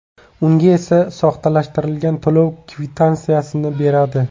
Unga esa soxtalashtirilgan to‘lov kvitansiyasini beradi.